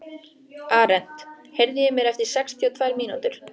Arent, heyrðu í mér eftir sextíu og tvær mínútur.